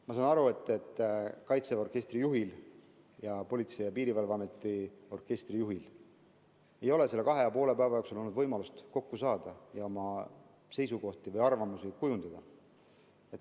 Ma saan aru, et kaitseväe orkestri juhil ja Politsei‑ ja Piirivalveameti orkestri juhil ei ole selle kahe ja poole päeva jooksul olnud võimalust kokku saada ja oma seisukohti või arvamusi kujundada.